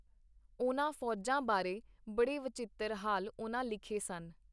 ਉਹਨਾਂ ਫੋਜਾਂ ਬਾਰੇ ਬੜੇ ਵਚਿੱਤਰ ਹਾਲ ਉਹਨਾਂ ਲਿਖੇ ਸਨ.